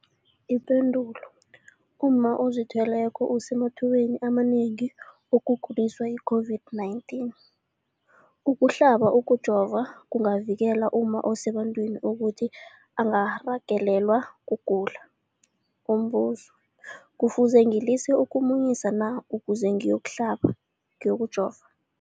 Ipendulo, umma ozithweleko usemathubeni amanengi wokuguliswa yi-COVID-19. Ukuhlaba, ukujova kungavikela umma osebantwini ukuthi angarhagalelwa kugula. Umbuzo, kufuze ngilise ukumunyisa na ukuze ngiyokuhlaba, ngiyokujova?